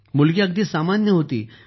मुलगी एकदम सामान्य होती